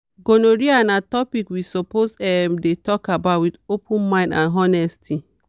gonorrhea na topic we suppose um dey talk about with open mind and honesty.